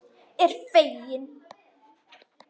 Er fegin.